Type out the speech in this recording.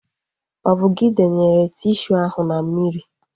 Ọ bụ gị denyere tishu ahu na mmiri?